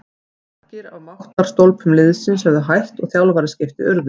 Margir af máttarstólpum liðsins höfðu hætt og þjálfaraskipti urðu.